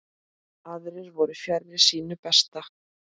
Aðrir voru fjarri sínu besta.